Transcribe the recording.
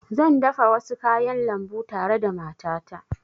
Zan dafa wasu kayan lambu tare da matata